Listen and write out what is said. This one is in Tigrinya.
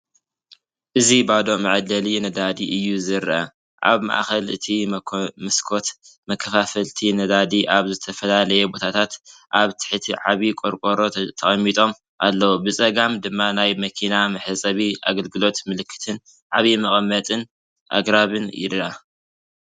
እዚ ባዶ መዐደሊ ነዳዲ እዩ ዘርኢ። ኣብ ማእከል እቲ መስኮት፡ መከፋፈልቲ ነዳዲ ኣብ ዝተፈላለየ ቦታታት ኣብ ትሕቲ ዓቢ ቆሮቆሮ ተቐሚጦም ኣለዉ። ብጸጋም ድማ ናይ መኪና ምሕጻብ ኣገልግሎት ምልክትን ዓቢ መቐመጢ ኣግራብን ይርአ።